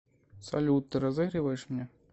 салют ты разыгрываешь меня